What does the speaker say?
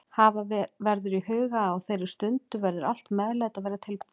Hafa verður í huga að á þeirri stundu verður allt meðlæti að vera tilbúið.